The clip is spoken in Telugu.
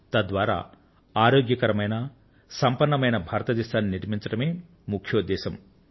తద్వారా ఆరోగ్యకరమైన సంపన్నమైన భారతదేశాన్ని నిర్మించడమే ముఖ్యోద్దేశం